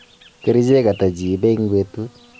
kerichek hata jiipe eng petut?